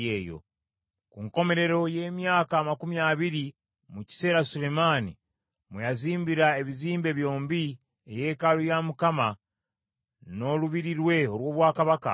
Ku nkomerero y’emyaka amakumi abiri, mu kiseera Sulemaani mwe yazimbira ebizimbe byombi, eyeekaalu ya Mukama , n’olubiri lwe olw’obwakabaka,